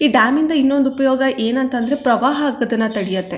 ಈ ಡ್ಯಾಮ್ ಇಂದ ಇನ್ನೊಂದು ಉಪಯೋಗ ಏನ್ ಅಂತ ಅಂದ್ರೆ ಪ್ರವಾಹ ಆಗೋದನ್ನಾ ತಡೆಯುತ್ತೆ.